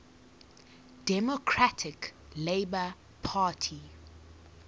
democratic labour party